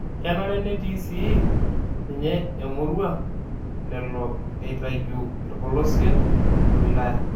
Kenare netii sii ninye emurua lelo eitayu ilpolosien le wilaya